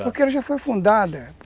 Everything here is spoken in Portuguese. Porque ela já foi fundada.